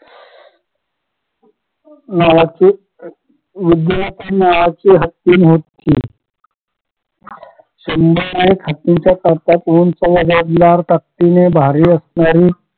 नावाचे नावाची हत्तीनं होती ताकतीने भारी असणारी